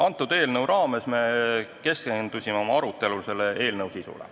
Antud eelnõu raames me keskendusime oma arutelul selle eelnõu sisule.